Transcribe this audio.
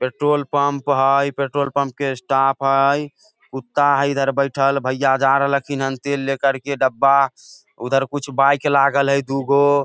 petrol pump हेय petrol pump के staff हेय कुत्ता हेय इधर बइठल भैया जा रहल खीन तेल लेकर के डब्बा उधर कुछ बाइक लागल हेय दूगो --